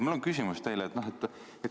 Mul on teile küsimus.